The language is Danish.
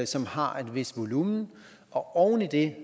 som har et vist volumen og oven i det